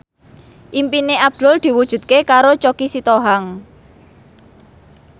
impine Abdul diwujudke karo Choky Sitohang